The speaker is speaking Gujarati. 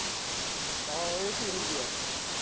ભાવ એશી રુપયા